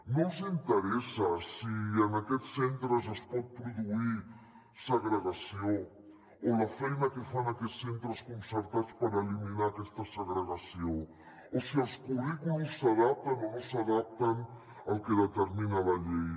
no els interessa si en aquests centres es pot pro·duir segregació o la feina que fan aquests centres concertats per eliminar aquesta segregació o si els currículums s’adapten o no s’adapten al que determina la llei